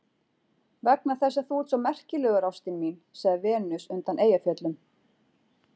Vegna þess að þú ert svo merkilegur ástin mín, sagði Venus undan Eyjafjöllum.